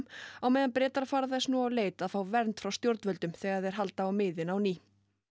á meðan Bretar fara þess nú á leit að fá vernd frá stjórnvöldum þegar þeir halda á miðin á ný